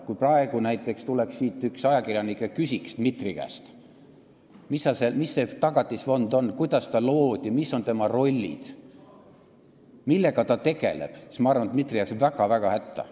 Kui praegu tuleks mõni ajakirjanik ja küsiks Dmitri käest, mis see Tagatisfond on, kuidas ta loodi, mis on tema rollid, millega ta tegeleb, siis ma arvan, et Dmitri jääks väga-väga hätta.